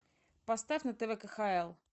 поставь на тв кхл